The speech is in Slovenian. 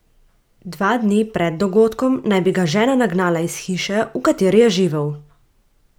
Dva dni pred dogodkom naj bi ga žena nagnala iz hiše, v kateri je živel.